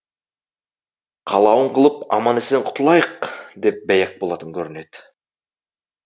қалауын қылып аман есен құтылайық деп бәйек болатын көрінеді